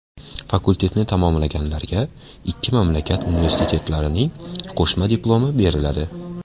Fakultetni tamomlaganlarga ikki mamlakat universitetlarining qo‘shma diplomi beriladi.